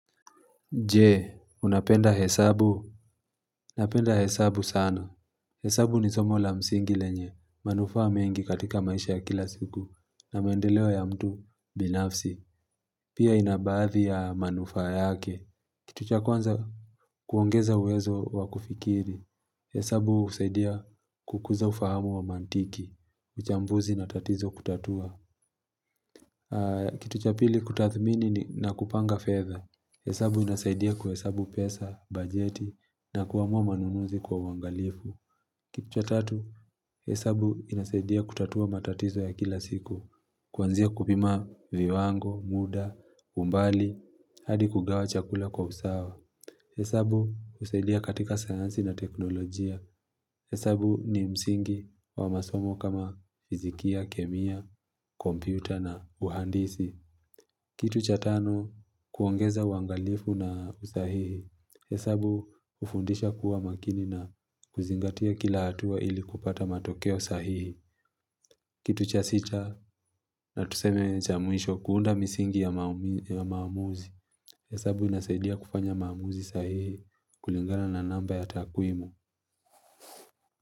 Je, unapenda hesabu? Napenda hesabu sana. Hesabu ni somo la msingi lenye. Manufaa mengi katika maisha ya kila siku. Na maendeleo ya mtu binafsi. Pia ina baadhi ya manufaa yake. Kitu cha kwanza kuongeza uwezo wakufikiri. Hesabu husaidia kukuza ufahamu wa mantiki. Uchambuzi na tatizo kutatua. Kitu cha pili kutathmini na kupanga fedha. Hesabu inasaidia kuhesabu pesa, bajeti. Na kuamua manunuzi kwa uangalifu. Kitu cha tatu, hesabu inasaidia kutatua matatizo ya kila siku. Kuanzia kupima viwango, muda, umbali, hadi kugawa chakula kwa usawa. Hesabu husaidia katika sayansi na teknolojia. Hesabu ni msingi wa masomo kama fizikia, kemia, kompyuta na uhandisi. Kitu cha tano kuongeza uangalifu na usahihi. Hesabu hufundisha kuwa makini na kuzingatia kila hatua ili kupata matokeo sahihi. Kitu cha sita na tuseme cha mwisho kuunda misingi ya maamuzi. Hesabu inasaidia kufanya maamuzi sahihi kulingana na namba ya takwimu.